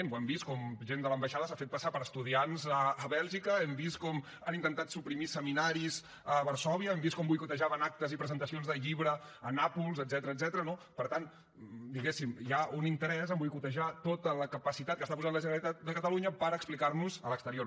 ho hem vist com gent de l’ambaixada s’ha fet passar per estudiants a bèlgica hem vist com han intentat suprimir seminaris a varsòvia hem vist com boicotejaven actes i presentacions de llibre a nàpols etcètera no per tant diguéssim hi ha un interès a boicotejar tota la capacitat que està posant la generalitat de catalunya per explicar nos a l’exterior